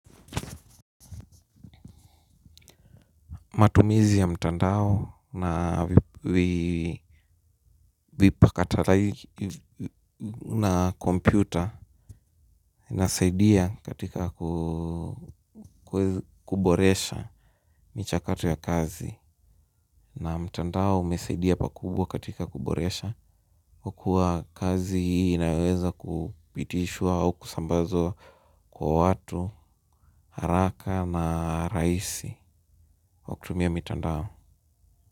Matumizi ya mtandao na vipakatalishi na kompyuta inasaidia katika kuboresha michakato ya kazi. Na mtandao umesaidia pakubwa katika kuboresha kwa kuwa kazi inaweza kupitishwa au kusambazwa kwa watu, haraka na rahisi kwa kutumia mtandao.